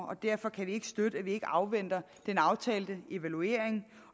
og derfor kan vi ikke støtte at vi ikke afventer den aftalte evaluering